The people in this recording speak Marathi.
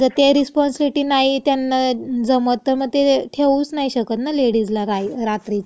म जं ते रिस्पाँसिबिलिटी नाही त्यांना जमत तं म ठेवूच नाही शकत ना लेडीजला रात्रीचं जॉबसाठी.